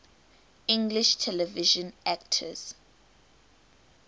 english television actors